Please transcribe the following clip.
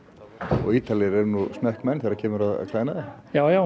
og Ítalir eru nú smekkmenn þegar kemur að klæðnaði